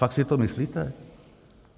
Fakt si to myslíte?